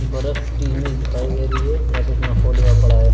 बरफ की इमेज दिखाई दे रही है यहां पे स्नो फॉल हुआ पड़ा है।